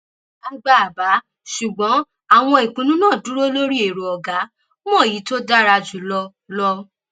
a gba àbá ṣùgbọn àwọn ìpinnu náà dúró lórí èrò ọgá mọ èyí tó dára jù lọ lọ